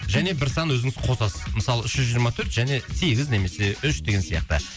және бір сан өзіңіз қосасыз мысалы үш жүз жиырма төрт және сегіз немесе үш деген сияқты